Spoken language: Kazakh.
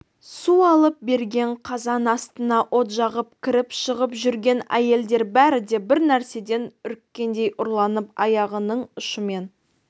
су алып берген қазан астына от жағып кіріп-шығып жүрген әйелдер бәрі де бір нәрседен үріккендей ұрланып аяғының ұшымен